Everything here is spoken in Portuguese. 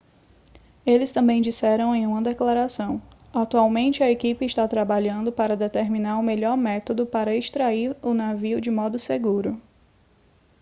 eles também disseram em uma declaração atualmente a equipe está trabalhando para determinar o melhor método para extrair o navio de modo seguro